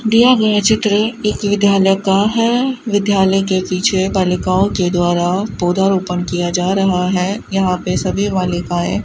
दिया गया चित्र एक विद्यालय का है विद्यालय के पीछे बालिकाओं के द्वारा पौधारोपण किया जा रहा है यहां पे सभी बालिकाएं --